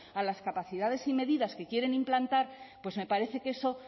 a las capacidades y medidas que quieren implantar pues me parece que eso